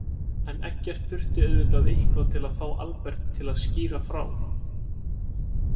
En Eggert þurfti auðvitað eitthvað til að fá Albert til að skýra frá.